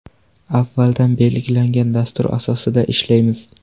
Avvaldan belgilangan dastur asosida ishlaymiz.